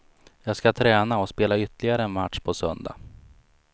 Jag ska träna och spela ytterligare en match på söndag.